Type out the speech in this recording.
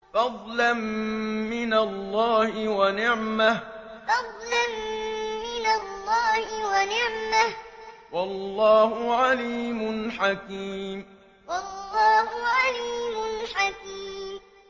فَضْلًا مِّنَ اللَّهِ وَنِعْمَةً ۚ وَاللَّهُ عَلِيمٌ حَكِيمٌ فَضْلًا مِّنَ اللَّهِ وَنِعْمَةً ۚ وَاللَّهُ عَلِيمٌ حَكِيمٌ